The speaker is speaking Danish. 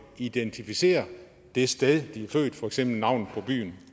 identificere det sted de er født for eksempel navnet på byen